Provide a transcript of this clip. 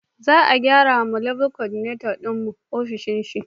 Za a gyrawa Level Coordinator din mu ofishin shi